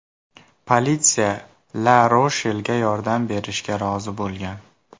Politsiya LaRoshelga yordam berishga rozi bo‘lgan.